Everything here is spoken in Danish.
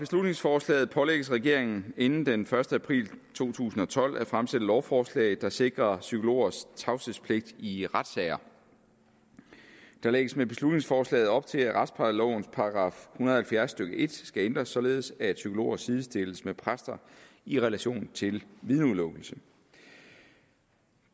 beslutningsforslaget pålægges regeringen inden den første april to tusind og tolv at fremsætte lovforslag der sikrer psykologers tavshedspligt i retssager der lægges med beslutningsforslaget op til at retsplejelovens § en og halvfjerds stykke en skal ændres således at psykologer sidestilles med præster i relation til vidneudelukkelse